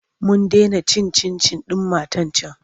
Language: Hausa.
Mun dena cin cin-cin ɗin matar can.